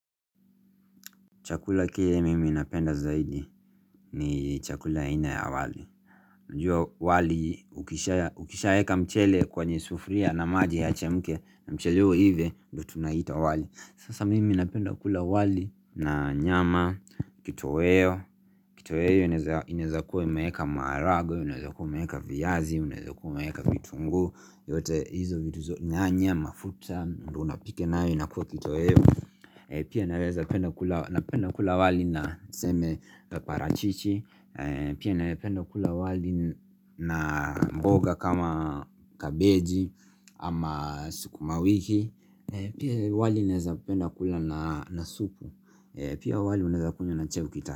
Chakula kile mimi napenda zaidi ni chakula aina ya wali Njua wali ukishaeka mchele kwenye sufuria na maji yache mke na mchele huo uive ndo tunaita wali Sasa mimi napenda kula wali na nyama kito weo Kito weo inaezakuwa imeeka maragwe, unaezakuwa umeeka viazi, unawezakua umeeka vitunguu yote hizo vitu zo nyanya, mafuta, ndo unapika na yo inakua kito weo Pia naweza penda kula wali na seme parachichi Pia na penda kula wali na mboga kama kabeji ama sukuma wiki Pia wali naweza penda kula na supu Pia wali unaweza kunywa na chai ukita.